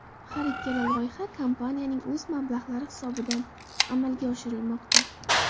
Har ikkala loyiha kompaniyaning o‘z mablag‘lari hisobidan amalga oshirilmoqda.